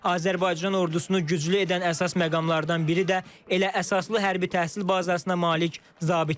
Azərbaycan ordusunu güclü edən əsas məqamlardan biri də elə əsaslı hərbi təhsil bazasına malik zabitlərdir.